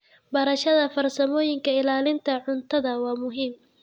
Barashada farsamooyinka ilaalinta cuntada waa muhiim.